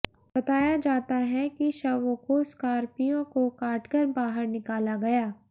बताया जाता है कि शवों को स्कार्पियो को काटकर बाहर निकाला गया